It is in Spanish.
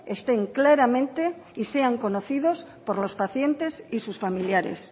estén claramente y sean conocidos por los pacientes y sus familiares